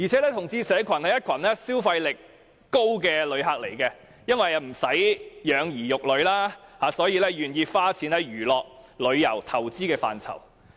同志社群是消費力高的旅客，因為他們不用養兒育女，因而很願意花錢在娛樂、旅遊和投資上。